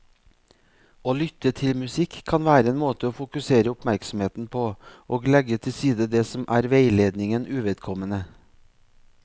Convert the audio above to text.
Å lytte til musikk kan være en måte å fokusere oppmerksomheten på og legge til side det som er veiledningen uvedkommende.